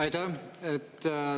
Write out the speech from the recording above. Aitäh!